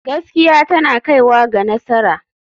Gaskiya tana kaiwa ga nasara.